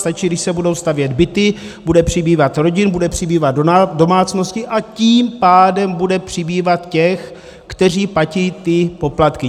Stačí, když se budou stavět byty, bude přibývat rodin, bude přibývat domácností, a tím pádem bude přibývat těch, kteří platí ty poplatky.